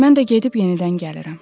Mən də gedib yenidən gəlirəm.